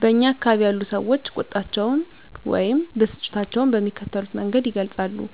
በእኛ አካባቢ ያሉ ሰዎች ቁጣቸውን ወይም ብስጭታቸውን በሚከተሉት መንገድ ይገልጻሉ:-